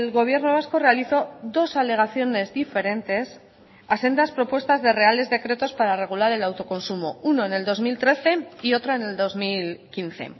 gobierno vasco realizó dos alegaciones diferentes a sendas propuestas de reales decretos para regular el autoconsumo uno en el dos mil trece y otra en el dos mil quince